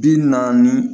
Bi naani